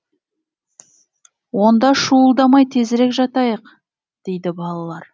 онда шуылдамай тезірек жатайық дейді балалар